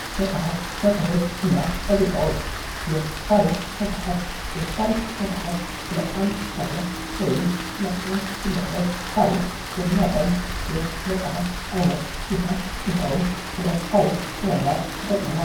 መጽሐፍት መጽሔት እና ጋዜጦች የታሪክ መጽሐፍት፤ የታሪክ መጽሐፍት ስለ አንድ ሀገር ወይም ስለ አንድ ግለሰብ ታሪክ የሚያሳይ የመጽሐፍ አይነት ሲሆን ይኸውም ስለ ታሪክ ለመማር ይጠቅማል።